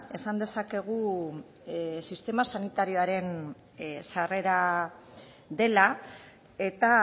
esan dezakegu sistema sanitarioaren sarrera dela eta